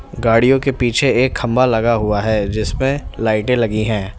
गाड़ियों के पीछे एक खंभा लगा हुआ है जिसमें लाइटे लगी है।